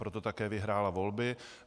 Proto také vyhrála volby.